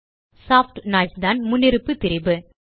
soft noise தான் முன்னிருப்பு திரிபு